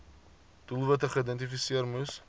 doelwitte geïdentifiseer moes